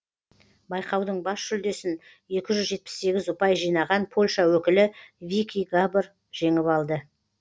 байқаудың бас жүлдесін екі жүз жетпіс сегіз ұпай жинаған польша өкілі вики габор жеңіп алды